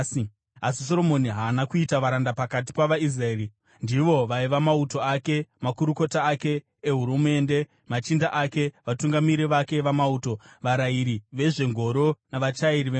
Asi Soromoni haana kuita varanda pakati pavaIsraeri; ndivo vaiva mauto ake, makurukota ake ehurumende, machinda ake, vatungamiri vake vamauto, varayiri vezvengoro navachairi vengoro.